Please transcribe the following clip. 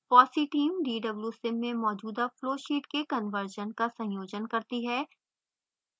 fossee team dwsim में मौजूदा flow sheets के कन्वर्शन का संयोजन करती है